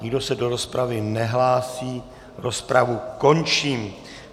Nikdo se do rozpravy nehlásí, rozpravu končím.